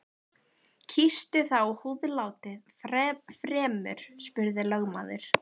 Kýstu þá húðlátið fremur, spurði lögmaður.